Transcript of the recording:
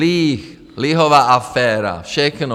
Líh, lihová aféra, všechno.